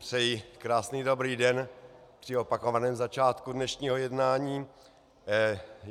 Přeji krásný dobrý den při opakovaném začátku dnešního jednání.